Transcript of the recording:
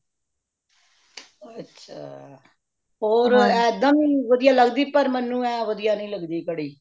ਅੱਛਾ ਹੋਰ ਇਹਦਾ ਵੀ ਵਧੀਆਂ ਲਗਦੀ ਪਰ ਮੈੰਨੂ ਇਹ ਵਧੀਆਂ ਨਹੀਂ ਲਗਦੀ ਕੜੀ